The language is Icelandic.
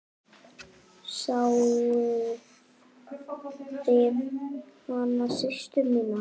Sáuð þið hana systur mína.